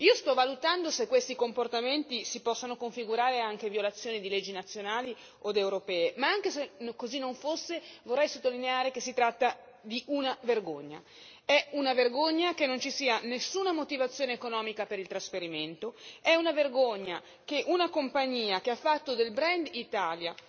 Sto valutando se questi comportamenti si possono configurare anche come violazioni di leggi nazionali o europee, ma se anche così non fosse vorrei sottolineare che si tratta di una vergogna è una vergogna che non ci sia nessuna motivazione economica per il trasferimento, è una vergogna che una compagnia che ha fatto del brand Italia